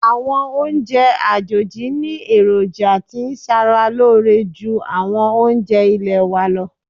Àwọn oúnjẹ àjòjì ní èròjà tí ń ṣàrà lóore ju àwọn oúnjẹ ilẹ̀ wa lọ.